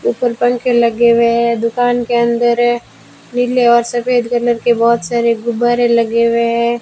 ऊपर पंखे लगे हुए है दुकान के अंदर है नीले और सफेद कलर के बहोत सारे गुब्बारे लगे हुए हैं।